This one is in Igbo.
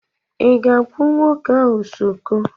ị ga-akpụ nwoke ahụ skodo?